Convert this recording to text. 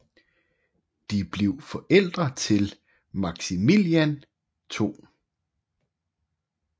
De blev forældre til Maximilian 2